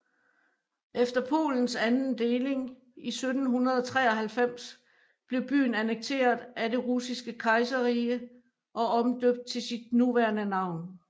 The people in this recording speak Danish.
Efter Polens anden deling i 1793 blev byen annekteret af Det Russiske Kejserrige og omdøbt til sit nuværende navn